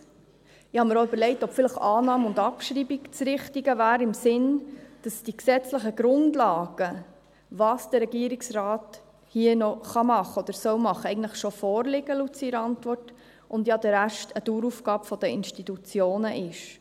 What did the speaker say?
Ich habe mir auch überlegt, ob vielleicht Annahme und Abschreibung das Richtige wäre, in dem Sinn, dass die gesetzlichen Grundlagen, was der Regierungsrat hier noch machen soll oder machen kann, eigentlich laut seiner Antwort schon vorliegen, und der Rest ja ein Dauerauftrag der Institutionen ist.